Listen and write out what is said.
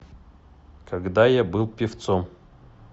когда я был певцом